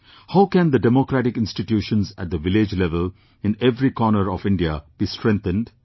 How can the democratic institutions at the village level, in every corner of India, be strengthened